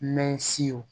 Mɛ siw